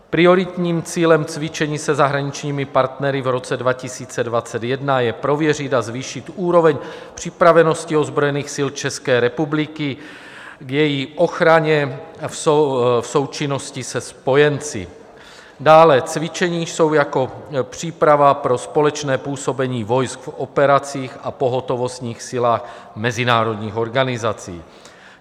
Prioritním cílem cvičení se zahraničními partnery v roce 2021 je prověřit a zvýšit úroveň připravenosti ozbrojených sil České republiky k její ochraně v součinnosti se spojenci, dále cvičení jsou jako příprava pro společné působení vojsk v operacích a pohotovostních silách mezinárodních organizací.